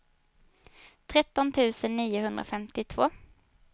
tretton tusen niohundrafemtiotvå